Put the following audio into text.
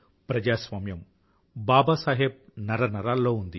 ప్రజాస్వామ్యం బాబాసాహెబ్ నరనరాల్లో ఉంది